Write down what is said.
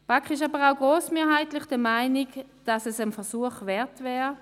Die BaK ist grossmehrheitlich jedoch auch der Meinung, dass es einen Versuch wert wäre.